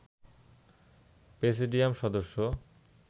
presidium সদস্য